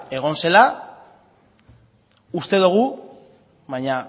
egon zela uste dugu baina